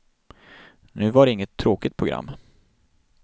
Nu var det inget tråkigt program.